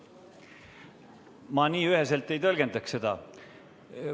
Ma nii üheselt ei tõlgendaks seda.